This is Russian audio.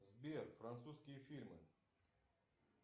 сбер французские фильмы